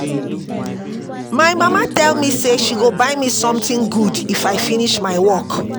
My mama tell me say she go buy me something good if I finish my work